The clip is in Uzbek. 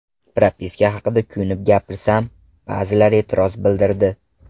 Propiska haqida kuyunib gapirsam, ba’zilar e’tiroz bildirdi.